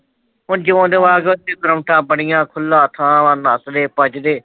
ਤੇ ਹੁਣ ਜਿਸ ਤਰ੍ਹਾਂ ਔਤਾਂ ਬਣੀਆਂ, ਖੁੱਲਾਂ ਥਾਂ ਵਾਂ, ਨਸਦੇ ਭਜਦੇ